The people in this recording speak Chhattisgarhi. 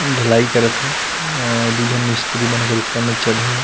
ढलाई करत हे औ दू झन मिस्त्री मन एकर ऊपर में चढ़े हे।